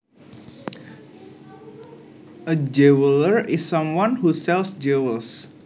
A jeweler is someone who sells jewels